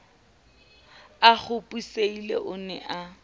a kgopisehile o ne a